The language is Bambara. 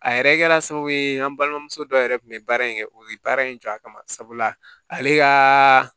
A yɛrɛ kɛra sababu ye an balimamuso dɔ yɛrɛ tun bɛ baara in kɛ o ye baara in jɔ a kama sabula ale ka